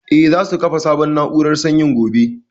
Eh, za su kafa sabon na'urar sanyin gobe